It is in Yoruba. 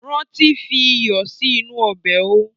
Ránti fi iyọ̀ sì inú ọbẹ̀ ó!